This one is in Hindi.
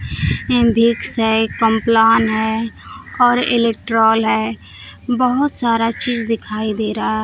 ऐं भिक्स है कॉम्प्लान है और इलेक्ट्रॉल है बहुत सारा चीज दिखाई दे रहा --